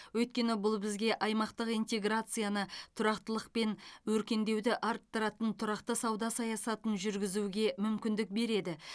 өйткені бұл бізге аймақтық интеграцияны тұрақтылық пен өркендеуді арттыратын тұрақты сауда саясатын жүргізуге мүмкіндік береді